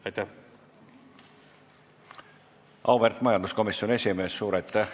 Auväärt majanduskomisjoni esimees!